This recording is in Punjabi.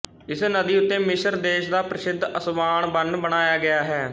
ਇਸ ਨਦੀ ਉੱਤੇ ਮਿਸਰ ਦੇਸ਼ ਦਾ ਪ੍ਰਸਿੱਧ ਅਸਵਾਨ ਬੰਨ੍ਹ ਬਣਾਇਆ ਗਿਆ ਹੈ